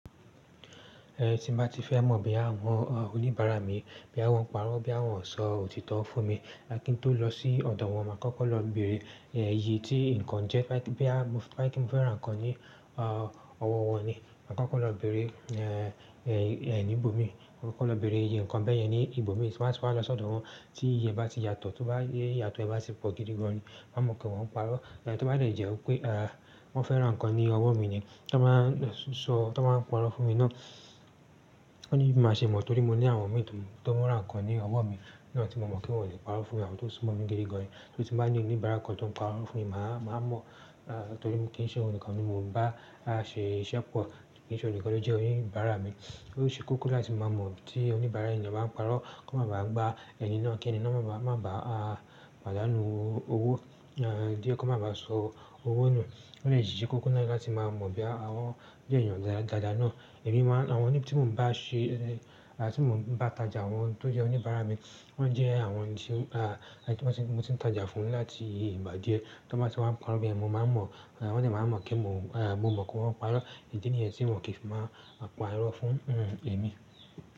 Ẹ̀ tí n bá ti fẹ́ mọ̀ bí àwọn oníbàárà mi, boyà wọn ń parọ́, boyà wọn ń sọ òtítọ́ fún mi, bá kí n tó lọ sí ọ̀dọ̀ wọn, máa kọ́kọ́ lọ bèrè ìyè tí nǹkan jẹ́. Bá kí n fẹ́ rán ǹkan ní ọwọ́ wọn ni, màá kọ́kọ́ lọ bèrè nìbò mi. Kọ́kọ́ lọ bèrè ìyè ǹkan bẹ́ẹ̀ yẹn ní ìbò mi, ti n bá ti wa lọ sọ́dọ̀ wọn. Tí ìyè bá ti yàtọ̀, tó bá yẹ́ yàtọ̀, ẹ bá ti pọ̀ gidi gan ni, màá mọ̀ pé wọ́n ń parọ́. Tó bá dẹ̀ jẹ́ wípé wọ́n fẹ́ rán ǹkan ní ọwọ́ mi ni, tí wọ́n bá ń sọ, tí wọ́n bá ń parọ́ fún mi náà, oò ní bí màá ṣe mọ̀ torí mo ní àwọn mi ta mi tí wọ́n rán ǹkan ní ọwọ́ mi náà tí mo mọ̀ pé wọn ò lè parọ́ fún mi àwọn tó súnmọ́ mi gidi gan. Torí tí n bá ní oníbàárà kan tó ń parọ́ fún mi, màá mọ̀ torí mo kí n ṣe ọnìkan ni mo ń bá ṣe iṣẹ́ pọ̀. Kì í ṣe ọnìkan ló jẹ́ oníbàárà mi. Ó ṣe kókó láti máa mọ̀ tí oníbàárà èèyàn bá ń parọ́. Kọ́ máa bá à gba ẹni náà kí ẹni náà má bá à pàdánù owó. Díẹ́ kò máa bá à sọ owó nù. Ó lè yí ṣe kókó láti máa mọ̀ bóyá wọn jẹ́ èèyàn dáadáa náà. Ẹ̀mí máa-- àwọn tí mo ń bá ṣe, tí mo ń bá tajà àwọn tó jẹ́ oníbàárà mi, wọ́n jẹ́ àwọn tí mo ti ń tajà fún láti ìgbà díẹ̀. Tí wọ́n bá ti wá ń parọ́ beyẹn, mo máa ń mọ̀. Wọ́n dẹ̀ máa mọ̀ kí n mọ̀ pé wọ́n ń parọ́. Ìdí nìyẹn tí wọn kì í fi máa parọ́ fún ẹ̀mí.